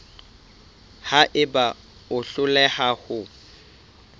ha eba o hloleha ho